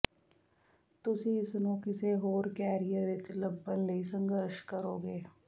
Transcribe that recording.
ਤੁਸੀਂ ਇਸ ਨੂੰ ਕਿਸੇ ਹੋਰ ਕੈਰੀਅਰ ਵਿਚ ਲੱਭਣ ਲਈ ਸੰਘਰਸ਼ ਕਰੋਗੇ